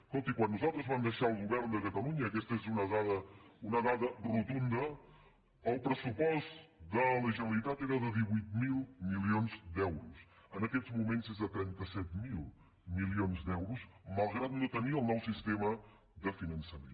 escolti quan nosaltres vam deixar el govern de catalunya i aquesta és una dada rotunda el pressupost de la generalitat era de divuit mil milions d’euros en aquests moments és de trenta set mil milions d’euros malgrat no tenir el nou sistema de finançament